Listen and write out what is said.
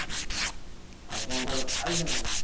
ଉଁ ହୁଁ, ଆଉ କଣ ତମେ ଖାଇଛ ନା କିଛି?